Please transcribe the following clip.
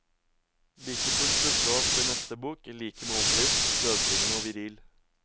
Like fullt dukket han opp i neste bok, like målbevisst dødbringende og viril.